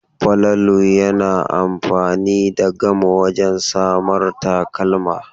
Falalu yana amfani da gam wajen samar takalma.